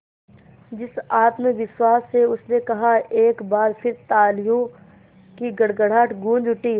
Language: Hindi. जिस आत्मविश्वास से उसने कहा एक बार फिर तालियों की गड़गड़ाहट गूंज उठी